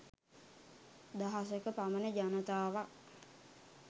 දහසක පමණ ජනතාවක්